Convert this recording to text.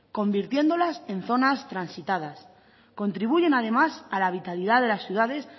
convirtiéndolas en zonas transitadas contribuyen además a la vitalidad de las ciudades